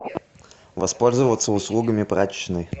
воспользоваться услугами прачечной